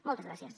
moltes gràcies